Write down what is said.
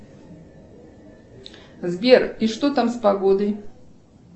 сбер и что там с погодой